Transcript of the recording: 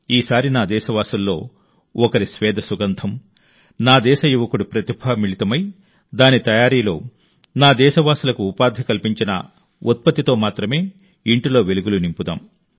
ఈ సారి నా దేశవాసుల్లో ఒకరి స్వేద సుగంధం నా దేశ యువకుడి ప్రతిభ మిళితమై దాని తయారీలో నా దేశవాసులకు ఉపాధి కల్పించిన ఉత్పత్తితో మాత్రమే ఇంటిని వెలిగిద్దాం